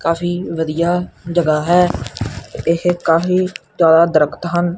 ਕਾਫੀ ਵਧੀਆ ਜਗ੍ਹਾ ਹੈ ਇਹ ਕਾਫੀ ਜਿਆਦਾ ਦਰਖਤ ਹਨ।